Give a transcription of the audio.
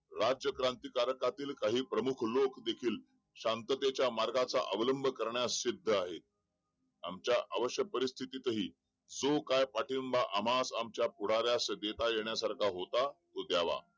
राज्य कार्यक्रांतीकातील काही प्रमुख लोक देखील शांततेचा मार्गाचा अवलंब करण्यास सिद्ध आहे आमच्या अवश्य परिस्थितीही सु. काय पाठिंबा अमावासीय आमच्या पुढाऱ्यास सजीता येण्यास सारखा होता हो त्यावा